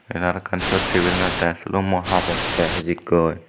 ten arawkkan sot tebilanot te sulummo habette hijikkoi.